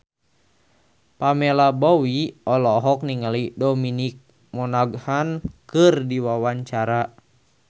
Pamela Bowie olohok ningali Dominic Monaghan keur diwawancara